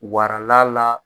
Warala la